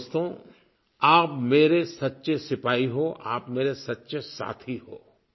लेकिन दोस्तो आप मेरे सच्चे सिपाही हो आप मेरे सच्चे साथी हो